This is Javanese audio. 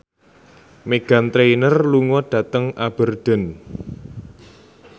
Meghan Trainor lunga dhateng Aberdeen